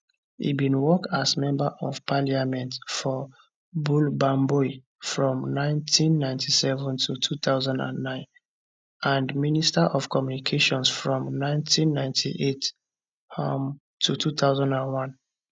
e bin work as member of parliament for bole bamboi from 1997 to 2009 and minister of communications from 1998 um to 2001